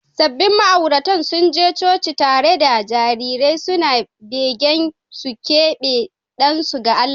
Sabbin ma’auratan sun je coci tare da jarirai suna begen su keɓe ɗansu ga Allah.